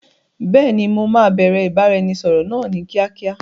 Beeni, mo máa bẹ̀rẹ̀ ìbáraẹnisọọ̀rọ̀ náà ni kíákíá.